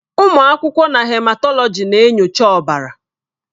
Ụmụ akwụkwọ na Hematọlọji na-enyocha ọbara.